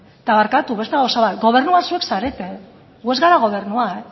eta barkatu beste gauza bat gobernua zuek zarete gu ez gara gobernua